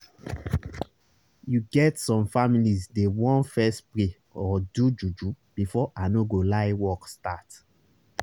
you get some families dey want fess pray or do juju before i no go lie work start